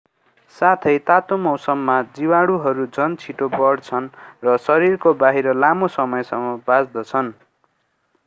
साथै तातो मौसममा जीवाणुहरू झन छिटो बढ्छन् र शरीरको बाहिर लामो समयसम्म बाँच्दछन्